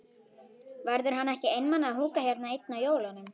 Verður hann ekki einmana að húka hérna einn á jólunum?